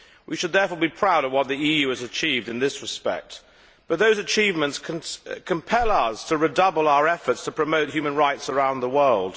We should therefore be proud of what the EU has achieved in this respect, but those achievements compel us to redouble our efforts to promote human rights around the world.